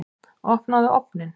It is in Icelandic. Opnaðu ofninn!